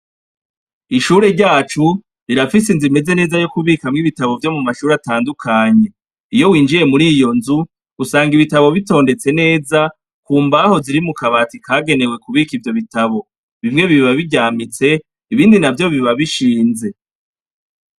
Ishuri ryacu rirafise inzu imeze neza yokubikamwo ibitabo vyo mu mashuri atandukanye iyo winjiye muriyo nzu usanga ibitabo bitondetse neza ku mbaho ziri mukabati kagenewe kubika ivyo bitabo bimwe biba biryaminitse ibindi biba bishinze.